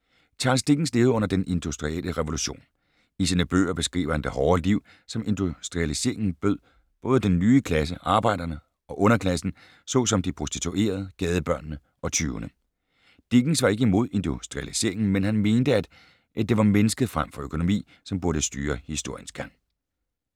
Charles Dickens levede under den industrielle revolution. I sine bøger beskriver han det hårde liv, som industrialiseringen bød både den nye klasse, arbejderne, og underklassen, såsom de prostituerede, gadebørnene og tyvene. Dickens var ikke imod industrialiseringen, men han mente, at det var mennesket frem for økonomi, som burde styre historiens gang.